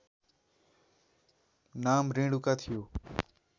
नाम रेणुका थियो